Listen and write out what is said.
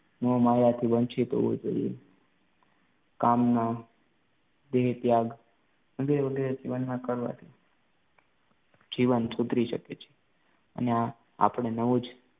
મોહમાયાથી વંચિત હોવું જોઈએ. કામના, દેહ ત્યાગ, વગેરે વગેરે જીવનમાં કરવા જોઈએ જીવન સુધરી શકે છે અને આપડે નવું જ